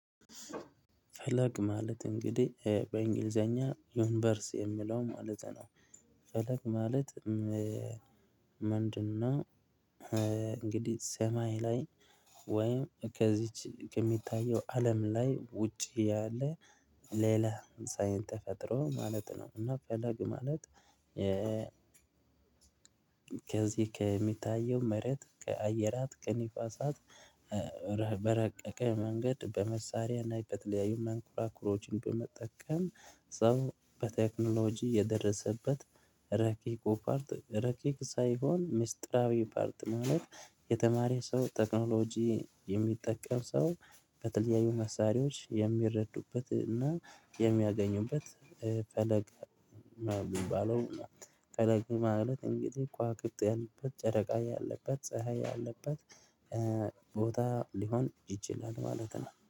ፈለግ ማለት እንግዲህ በእንግሊዘኛ ዩንቨርስ የሚለው ማለት ነው። ፈለቅ ማለት ምንድነው? እንግዲህ ሰማይ ላይ ወይም ከዚች ከሚታየው አለም ላይ ውጪ ያለ ሌላ ሳይን ተፈጥሮ ማለት ነው። እና ፈለግ ማለት። ከዚህ ከሚታየው መሬት ከአየራት ከንፋሳት በረቀቀ መንገድ በመሳሪያና በተለያዩ መንኩራኩሮችን በመጠቀም ሰው በቴክኖሎጂ የደረሰበት። ረቂቅ ፓርት ረቂቅ ሳይሆን ሚስጥራዊ ፓርት ማለት። የተማሪ ሰው ቴክኖሎጂ የሚጠቀም ሰው። በተለያዩ መሳሪያዎች የሚረዱበት እና የሚያገኙበት ፈለግ። ሚባለው ፈለግ ማለት እንግዲህ ከዋክብት ያሉበት ጨረቃ ያለበት ፀሀይ ያለበት ቦታ ሊሆን ይችላል ማለት ነው